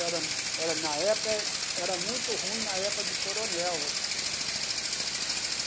Era era na época, era muito ruim na época do coronel.